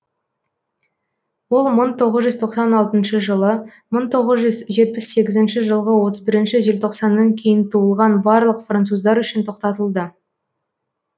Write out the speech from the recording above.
ол мың тоғыз жүз тоқсан алтыншы жылы мың тоғыз жүз жетпіс сегізінші жылғы отыз бірінші желтоқсаннан кейін туылған барлық француздар үшін тоқтатылды